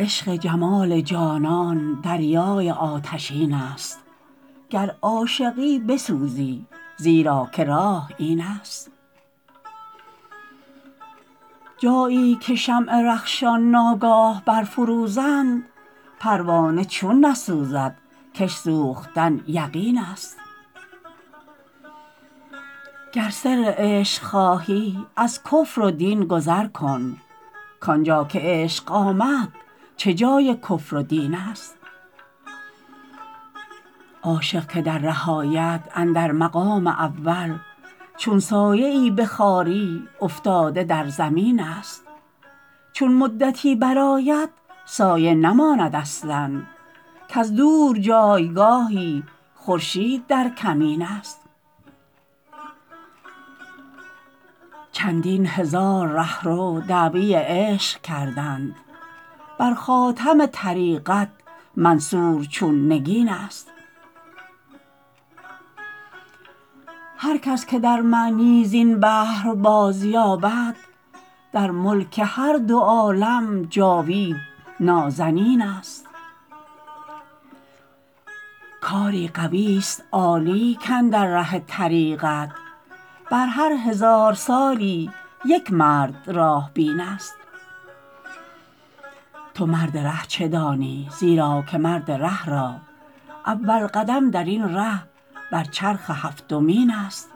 عشق جمال جانان دریای آتشین است گر عاشقی بسوزی زیرا که راه این است جایی که شمع رخشان ناگاه بر فروزند پروانه چون نسوزد کش سوختن یقین است گر سر عشق خواهی از کفر و دین گذر کن کانجا که عشق آمد چه جای کفر و دین است عاشق که در ره آید اندر مقام اول چون سایه ای به خواری افتاده در زمین است چون مدتی برآید سایه نماند اصلا کز دور جایگاهی خورشید در کمین است چندین هزار رهرو دعوی عشق کردند برخاتم طریقت منصور چون نگین است هرکس که در معنی زین بحر بازیابد در ملک هر دو عالم جاوید نازنین است کاری قوی است عالی کاندر ره طریقت بر هر هزار سالی یک مرد راه بین است تو مرد ره چه دانی زیرا که مرد ره را اول قدم درین ره بر چرخ هفتمین است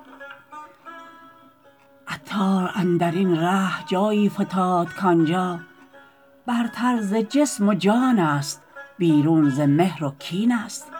عطار اندرین ره جایی فتاد کانجا برتر ز جسم و جان است بیرون ز مهر و کین است